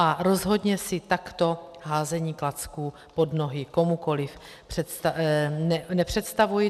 A rozhodně si takto házení klacků pod nohy komukoliv nepředstavuji.